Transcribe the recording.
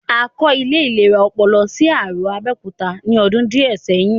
A kọ́ ilé ìlera ọpọlọ sí Arò, Abẹ́òkúta ní ọdún díẹ̀ sẹ́yìn